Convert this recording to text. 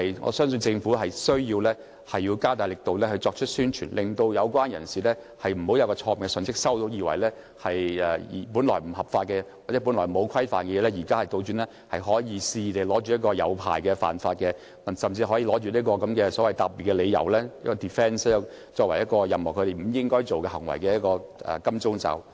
我相信政府需要加強宣傳，令有關人士不會接收錯誤信息，以為本來不合法或沒有規範的事，現在反而可以透過取得牌照而肆意為之，甚至以此作為答辯理由，作為任何不應該做的行為的"金剛罩"。